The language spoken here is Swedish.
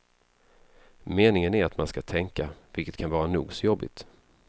Meningen är att man ska tänka, vilket kan vara nog så jobbigt.